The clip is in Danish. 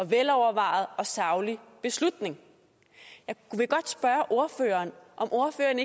velovervejet og saglig beslutning jeg vil godt spørge ordføreren om ordføreren